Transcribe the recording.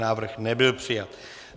Návrh nebyl přijat.